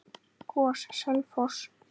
GOS- Selfoss